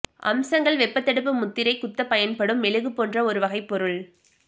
அம்சங்கள் வெப்பத்தடுப்பு முத்திரை குத்தப் பயன்படும் மெழுகு போன்ற ஒரு வகைப் பொருள்